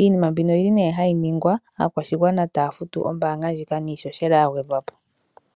Iinima mbino oyili nee hayi ningwa aakwashigwana taya futu iimaliwa mbika niishoshela ya gwedhwapo.